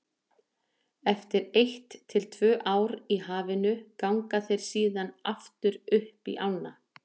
Eftir eitt til tvö ár í hafinu ganga þeir síðan aftur upp í ána.